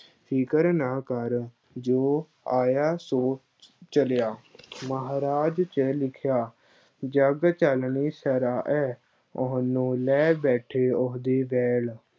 ਫ਼ਿਕਰ ਨਾ ਕਰ, ਜੋ ਆਇਆ ਸੋ ਚਲਿਆ ਮਹਾਰਾਜ ਚ ਲਿਖਿਆ, ਜੱਗ ਚੱਲਣੀ ਸਰਾਂ ਹੈ, ਉਹਨੂੰ ਲੈ ਬੈਠੇ ਉਹਦੇ ਵੈਲ,